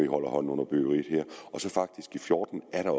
holder hånden under byggeriet så er der